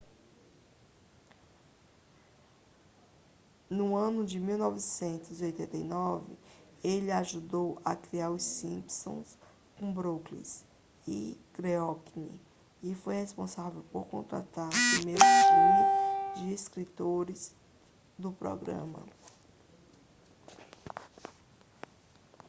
no ano de 1989 ele ajudou a criar os simpsons com brooks e groening e foi responsável por contratar o primeiro time de escritores do programa